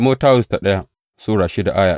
daya Timoti Sura shida